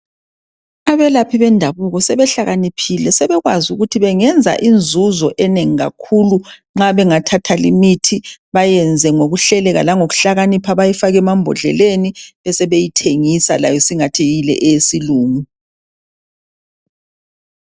Abelaphi bendabuko sebehlakaniphile sebekwazi ukuthi bengenza inzuzo enengi kakhulu nxa bengathatha li mithi bayenze ngokuhleleka langokuhlakanipha bayifake emambodleleni besebeyithengisa layo isingathi yile eyesilungu.